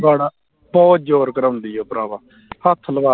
ਬੜਾ ਬਹੁੱਤ ਜ਼ੋਰ ਕਰਾਉਂਦੀ ਭਰਾਵਾਂ ਹੱਥ ਲਵਾ